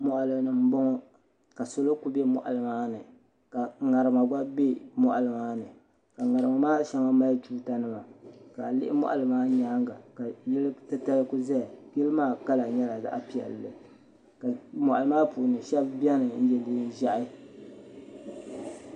Moɣalini m boŋɔ ka salo kuli be moɣali maani ka ŋarima gba be moɣali maani ka ŋarima maa sheŋa moɣali mali tuuta nima ka a lihi moɣali maa nyaanga ka yili titali kuli zaya yili maa kala nyɛla zaɣa piɛlli ka moɣali maa puuni sheba biɛni n ye niɛn'ʒehi.